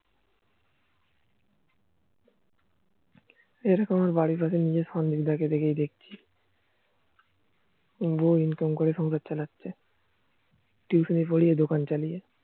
এরকম আমার বাড়ির পাশে সঞ্জয় দা কেই দেখছি বৌ ইনকাম করে সংসার চালাচ্ছে Tuition পরিয়ে দোকান চালাচ্ছে